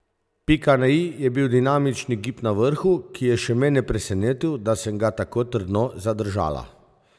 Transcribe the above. Pika na i je bil dinamični gib na vrhu, ki je še mene presenetil, da sem ga tako trdno zadržala.